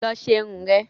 Lọ ṣe irun ẹ̀!